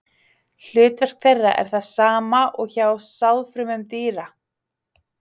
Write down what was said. Hlutverk þeirra er það sama og hjá sáðfrumum dýra.